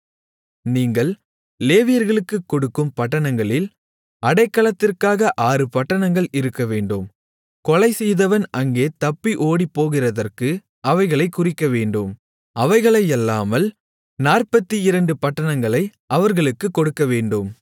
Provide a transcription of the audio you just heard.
நீங்கள் லேவியர்களுக்கு கொடுக்கும் பட்டணங்களில் அடைக்கலத்திற்காக ஆறு பட்டணங்கள் இருக்கவேண்டும் கொலை செய்தவன் அங்கே தப்பி ஓடிப்போகிறதற்கு அவைகளைக் குறிக்கவேண்டும் அவைகளையல்லாமல் 42 பட்டணங்களை அவர்களுக்குக் கொடுக்கவேண்டும்